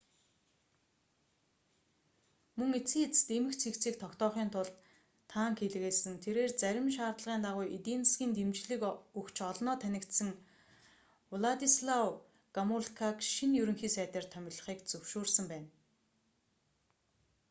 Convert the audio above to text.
мөн эцсийн эцэст эмх цэгцийг тогтоохын тулд танк илгээсэн тэрээр зарим шаардлагын дагуу эдийн засгийн дэмжлэг өгч олноо танигдсан владислав гомулкаг шинэ ерөнхий сайдаар томилхийг зөвшөөрсөн байна